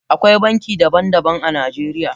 Akwai banki daban daban a Najeriya.